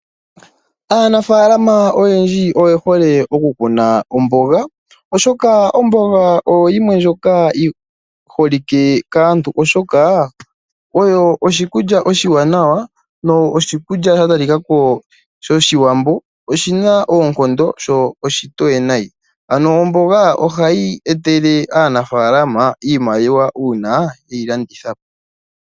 Aanafalama oyendji oye hole oku kuna omboga oshoka omboga oyo yimwe ndjoka yiholike kaantu oshoka oyo oshi kulya oshiwanawa noshikulya shatali kako sho shiwambo shina oonkondo sho oshitoye nai . Ano omboga hayi etele aanafalama iimaliwa uuna yeyi landithapo .